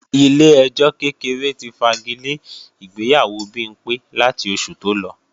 Ilé ẹjọ́ kékeré ti fagilé ìgbéyàwó Bimpé láti oṣù tó lọ